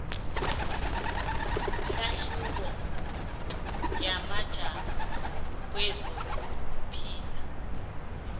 hlahlubo yamajamo kwezokuphila